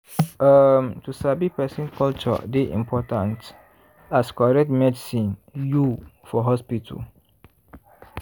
um to sabi person culture dey important as correct medicine you for hospital.